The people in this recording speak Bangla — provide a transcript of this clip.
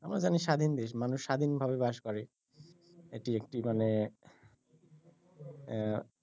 আমরা জানি স্বাধীন দেশ মানুষ স্বাধীনভাবে বাস করে এটি একটি মানে আহ